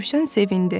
Rövşən sevindi.